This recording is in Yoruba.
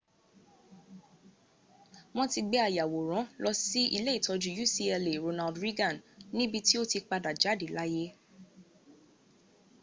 wọ́n ti gbé ayàwòrán lọ sí ilé ìtọ́jú ucla ronald reagan níbi tí ó ti padà jáde láyé